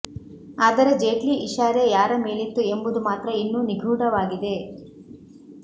ಆದರೆ ಜೇಟ್ಲಿ ಇಶಾರೆ ಯಾರ ಮೇಲಿತ್ತು ಎಂಬುದು ಮಾತ್ರ ಇನ್ನೂ ನಿಗೂಢವಾಗಿದೆ